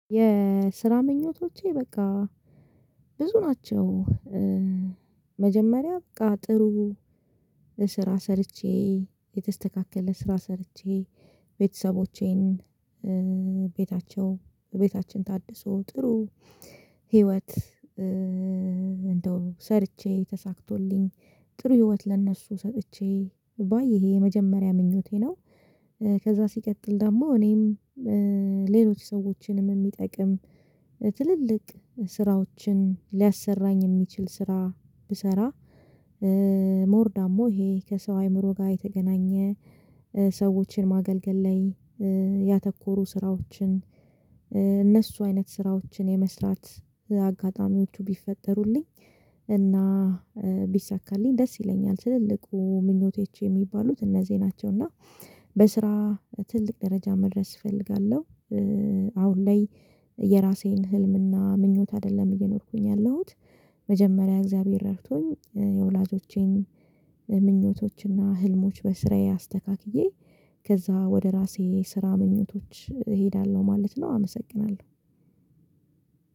የስራ ምኞቶቼ በቃ ብዙ ናቸው መጀመሪያ በቃ ጥሩ ስራ ሰርቼ የተስተካከለ ስራ ሰርቼ ቤተሰቦቼን ቤታቸው ቤታችን ታድሶ ጥሩ ህይወት ሰርቼ ተሳክቶልኝ ጥሩ ህይወት ለእነሱ ሰጥቼ ባይ ይሄ የመጀመሪያ ምኞቴ ነው። ከዛ ሲቀጥል ደግሞ እኔም ሌሎች ሰዎችንም የሚጠቅም ትልልቅ ስራዎችን ሊያሰራኝ የሚችል ስራ ብሰራ። ሞር ዳሞ ይሄ ከሰው አይምሮ ጋር የተገናኘ ሰዎችን ማገልገል ላይ ያተኮሩ ስራዎችን እነሱ አይነት ስራዎችን የመስራት አጋጣሚዎቹ ቢፈጠሩልኝ። እና ቢሳካልኝ ደስ ይለኛል ትልልቁ ምኞቶች የሚባሉት እነዚህ ናቸው። እና በስራ ትልቅ ደረጃ መድረስ እፈልጋለሁ። አሁን ላይ የራሴን ህልምና ምኞት አይደለም እየኖርኩኝ ያለሁት። መጀመሪያ እግዚአብሔር ረፍቶኝ የወላጆቼን ምኞቶችና ህልሞች በስራዬ አስተካክዬ ከዛ ወደ ራሴ ስራ ምኞቶች እሄዳለሁ ማለት ነው አመሰግናለሁ።